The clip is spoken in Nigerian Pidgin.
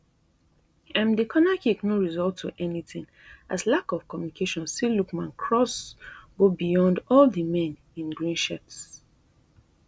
um di cornerkick no result to anytin as lack of communication see lookman cross go beyond all di men in green shirts